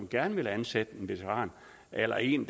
gerne vil ansætte en veteran eller en